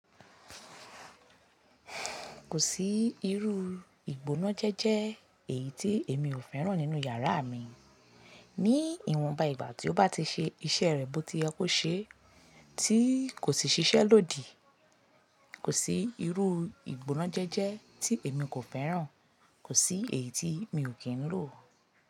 Kò sí irú ìgbónájẹ́jẹ́ èyí tí èmi ò fẹ́ràn nínú yàrá mi. Ní ìwọ̀nba ìgbà tí ó bá ti ṣe iṣẹ́ rẹ̀ bó ti yẹ kó ṣe, tí kò sì ṣiṣẹ́ lòdì. Kò sí irú ìgbónájẹ́jẹ́ tí èmi kò fẹ́ràn. Kò sí èyí tí mi ò kí ń lò.